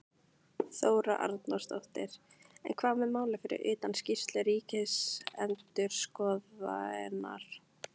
Þóra Arnórsdóttir: En hvað með málið fyrir utan skýrslu ríkisendurskoðunar?